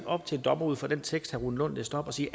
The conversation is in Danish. op til en dommer ud fra den tekst herre rune lund læste op at sige